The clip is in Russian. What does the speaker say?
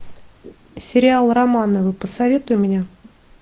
сериал романовы посоветуй мне